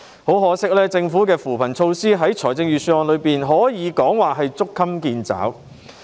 很可惜，政府在預算案提出的扶貧措施可謂捉襟見肘。